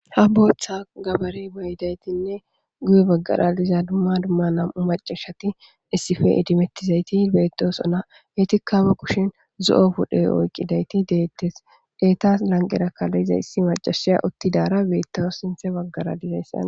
Ha botha gabare mayidagetinne guye bagara dizaa duma duma na'ama macati issippe edimettizayti bettoosona. Etikka ba kushen zo'o puththa oyqqidayti de'ites. Etaas lanqeraka diza issi macashe uttidaara bettawusu sintha baggara diza.